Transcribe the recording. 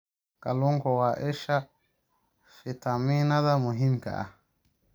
Kalluunku waa isha fiitamiinnada muhiimka ah.